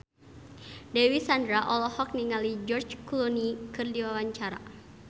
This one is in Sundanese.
Dewi Sandra olohok ningali George Clooney keur diwawancara